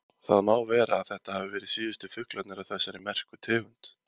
Það má vera að þetta hafi verið síðustu fuglarnir af þessari merku tegund.